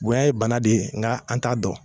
Bonya ye bana de ye nka n t'a dɔn.